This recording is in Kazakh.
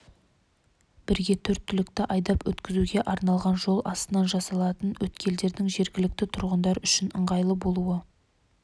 бірге төрт түлікті айдап өткізуге арналған жол астынан жасалатын өткелдердің жергілікті тұрғындар үшін ыңғайлы болуы